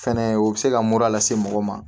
Fɛnɛ o bɛ se ka mura lase mɔgɔ ma